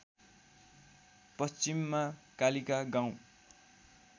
पश्चिममा कालिका गाउँ